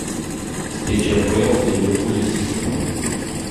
встреча апл ливерпуль и сити